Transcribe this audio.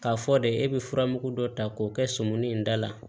K'a fɔ de e bɛ furamugu dɔ ta k'o kɛ sɔmuni in da la